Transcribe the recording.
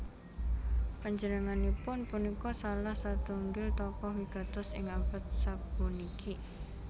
Panjenenganipun punika salah satunggil tokoh wigatos ing abad sapuniki